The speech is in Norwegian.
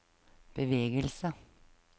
bevegelse